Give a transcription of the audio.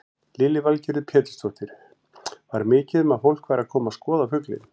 Lillý Valgerður Pétursdóttir: Var mikið um að fólk væri að koma að skoða fuglinn?